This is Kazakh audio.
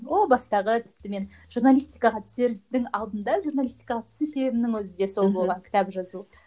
о бастағы тіпті мен жуналаистикаға түсердің алдында журналистикаға түсу себебімнің өзі де сол болған кітап жазу